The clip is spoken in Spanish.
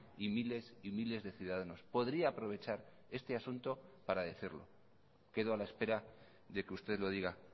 y miles y miles de ciudadanos podría aprovechar este asunto para decirlo quedo a la espera de que usted lo diga